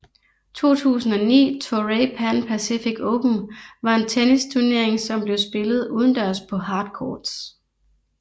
2009 Toray Pan Pacific Open var en tennisturnering som blev spillet udendørs på hard courts